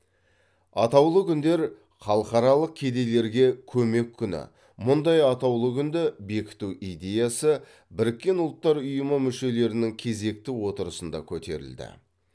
атаулы күндер халықаралық кедейлерге көмек күні мұндай атаулы күнді бекіту идеясы біріккен ұлттар ұйымы мүшелерінің кезекті отырысында көтерілді